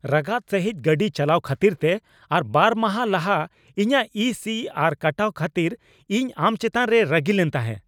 ᱨᱟᱜᱟᱫ ᱥᱟᱹᱦᱤᱡ ᱜᱟᱹᱰᱤ ᱪᱟᱞᱟᱣ ᱠᱷᱟᱹᱛᱤᱨᱛᱮ ᱟᱨ ᱵᱟᱨ ᱢᱟᱦᱟ ᱞᱟᱦᱟ ᱤᱧᱟᱹᱜ ᱤ ᱥᱤ ᱟᱨ ᱠᱟᱴᱟᱣ ᱠᱷᱟᱹᱛᱤᱨ ᱤᱧ ᱟᱢ ᱪᱮᱛᱟᱱ ᱨᱮ ᱨᱟᱹᱜᱤᱞᱮᱱ ᱛᱟᱦᱮᱸ ᱾